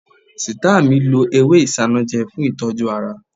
Sita mi lo ewé isanaje fún ìtọ́jú ara